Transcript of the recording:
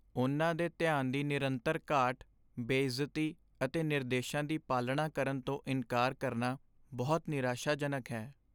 ਉਨ੍ਹਾਂ ਦੇ ਧਿਆਨ ਦੀ ਨਿਰੰਤਰ ਘਾਟ, ਬੇਇੱਜ਼ਤੀ ਅਤੇ ਨਿਰਦੇਸ਼ਾਂ ਦੀ ਪਾਲਣਾ ਕਰਨ ਤੋਂ ਇਨਕਾਰ ਕਰਨਾ ਬਹੁਤ ਨਿਰਾਸ਼ਾਜਨਕ ਹੈ।